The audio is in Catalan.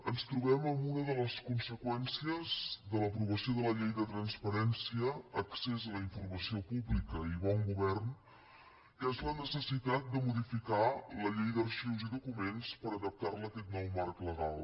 ens trobem amb una de les conseqüències de l’aprovació de la llei de transparència accés a la informació pública i bon govern que és la necessitat de modificar la llei d’arxius i documents per adaptar la a aquest nou marc legal